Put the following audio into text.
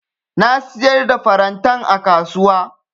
Na siyar da farantan a kasuwa.